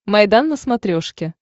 майдан на смотрешке